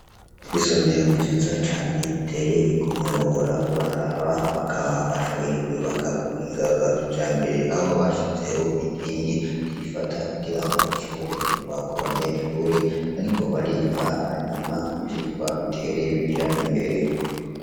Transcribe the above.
Isomero nziza cane iteye ikomwhora uraraba bakaba bashoboye kuibaka kuhingarwakija mbere aho bashizeho inkingi zifata kugira ngo ntishobore kurwa ku banyeshure bariko bariga hanyuma ivyirwa bitereye bija imbere.